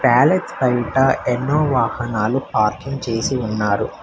ప్యాలెచ్ బయట ఎన్నో వాహనాలు పార్కింగ్ చేసి ఉన్నారు.